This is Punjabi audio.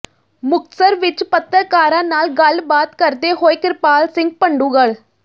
ਮੁਕਤਸਰ ਵਿੱਚ ਪੱਤਰਕਾਰਾਂ ਨਾਲ ਗੱਲਬਾਤ ਕਰਦੇ ਹੋਏ ਕ੍ਰਿਪਾਲ ਸਿੰਘ ਬਡੂੰਗਰ